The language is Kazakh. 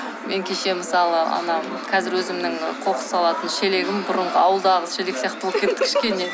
мен кеше мысалы ана қазір өзімнің қоқыс салатын шелегім бұрынғы ауылдағы шелек сияқты болып кетті кішкене